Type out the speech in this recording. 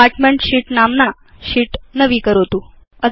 department शीत् नाम्ना शीत् नवीकरोतु